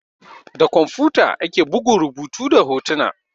Da kwamfuta ake bugun rubutu da hotuna.